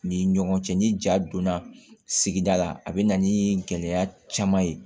Ni ɲɔgɔn cɛ ni ja donna sigida la a bɛ na ni gɛlɛya caman ye